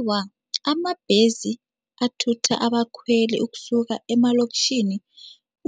Awa, amabhesi athutha abakhweli ukusuka emalokitjhini